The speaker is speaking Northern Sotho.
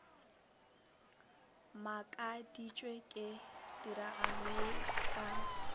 makaditšwe ke tiragalo ye ka